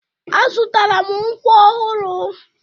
Azụtara m nkwọ ọhụrụ.